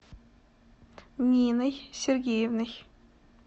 ниной сергеевной